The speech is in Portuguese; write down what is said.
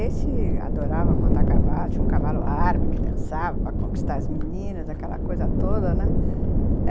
Esse adorava montar cavalo, tinha um cavalo árabe que dançava para conquistar as meninas, aquela coisa toda, né? uhum.